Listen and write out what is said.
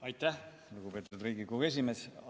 Aitäh, lugupeetud Riigikogu esimees!